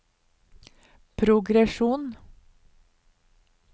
progresjon